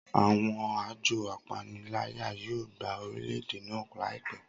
Awọn ajọ apanilaya yoo gba orilẹ-ede naa laipẹ